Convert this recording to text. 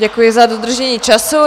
Děkuji za dodržení času.